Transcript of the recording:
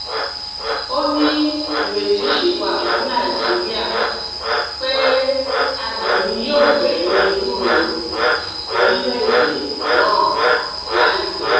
ó ní ìrètí sì wà fún nàìjíríà pé adùn ni yóò gbẹ̀yìn ewúro orílẹ̀‐èdè náà láìpẹ́